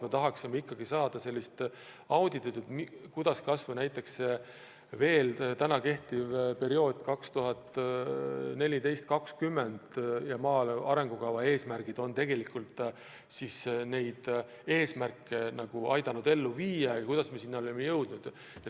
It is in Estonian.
Me tahaksime, et tehtaks auditit, kuidas kas või perioodi 2014–2020 maaelu arengukava eesmärgid on suudetud ellu viia ja kuidas me selleni oleme jõudnud.